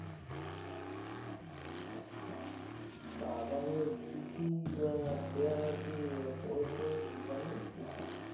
আচ্ছা আদানির কি কি আহ share আর কি পরেছে জানিস কিছু